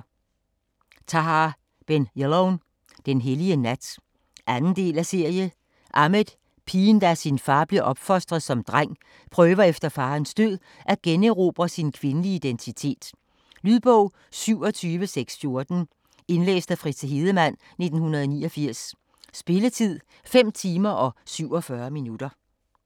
Ben Jelloun, Tahar: Den hellige nat 2. del af serie. Ahmed, pigen der af sin far blev opfostret som dreng, prøver efter faderens død at generobre sin kvindelige identitet. Lydbog 27614 Indlæst af Fritze Hedemann, 1989. Spilletid: 5 timer, 47 minutter.